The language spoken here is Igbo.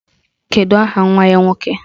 Kedụ aha nwa ya nwoke?